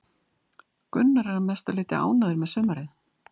Gunnar er að mestu leiti ánægður með sumarið.